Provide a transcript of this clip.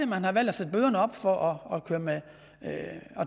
man har valgt at sætte bøderne op for at